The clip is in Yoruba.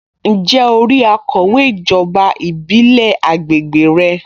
Ǹjẹ́ o rí akọ̀wé ijoba ìbílẹ̀ àgbègbè rẹ?